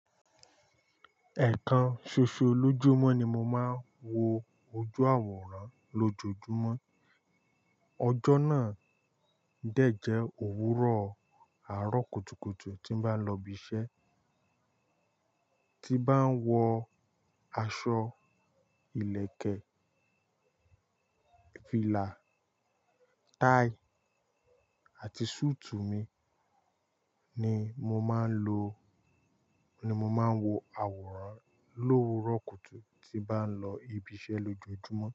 Ẹ̀kan ṣoṣo lójúmọ́ ni mo máa ń wo ojú àwòrán lójojúmọ́. Ọjọ́ náà dẹ̀ jẹ́ òwúrọ̀ àárọ̀ kùtùkùtù tí n bá lọ ibi iṣẹ́. Ti bá ń wọ aṣọ ìlẹ̀kẹ̀, fìlà, táì àti sùùtù mi ni mo máa ń lo, ni mo máa ń wo àwòrán lówó rọ̀ kùtù tí bá ń lọ ibi iṣẹ́ lójoojúmọ́